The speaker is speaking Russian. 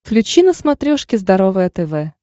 включи на смотрешке здоровое тв